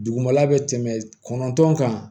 Dugumala bɛ tɛmɛ kɔnɔntɔn kan